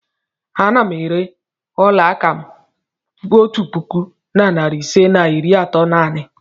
Ana m ere ọla aka m otu puku na narị ise na iri atọ naanị.